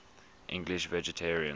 english vegetarians